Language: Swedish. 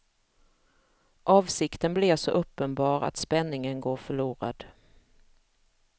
Avsikten blir så uppenbar att spänningen går förlorad.